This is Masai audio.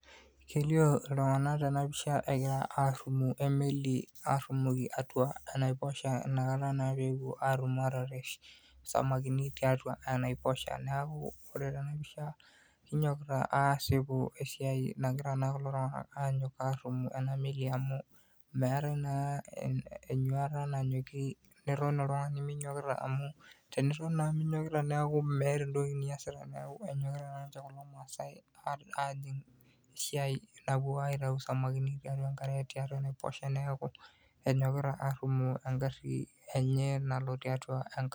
Kelio iltung'anak tenapisha egira arrumoo emeli arrumoki atua enaiposha inakata naa pepuo atum atarresh isamakini tiatua enaiposha. Neeku ore tenapisha, kinyokita asipu esiai nagira naa kulo tung'anak anyok arrumu ena meli amu meetae naa enyuata nanyoki niton oltung'ani minyokita amu teniton naa minyokita neeku meeta entoki niasita. Neeku enyokita naanche kulo maasai ajing esiai napuo aitau samakini tiatua enkare tiatua enaiposha neeku enyokita arrumoo egarri enye nalo tiatua enkare.